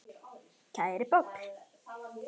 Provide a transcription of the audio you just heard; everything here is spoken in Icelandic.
Kæri Páll.